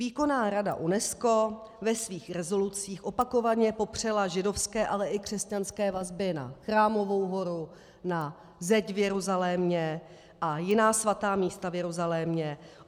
Výkonná rada UNESCO ve svých rezolucích opakovaně popřela židovské, ale i křesťanské vazby na Chrámovou horu, na Zeď v Jeruzalémě a jiná svatá místa v Jeruzalémě.